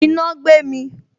Iná gbé mi